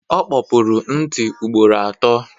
O kpopuru ntị ugboro atọ.